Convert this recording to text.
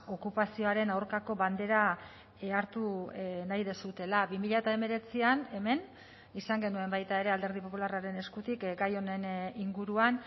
okupazioaren aurkako bandera hartu nahi duzuela bi mila hemeretzian hemen izan genuen baita ere alderdi popularraren eskutik gai honen inguruan